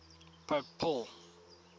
pope paul